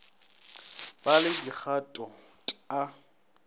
ba le dikgato t a